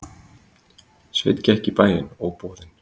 Sveinn gekk í bæinn, óboðinn.